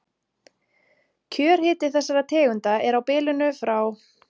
Kjörhiti þessara tegunda er á bilinu frá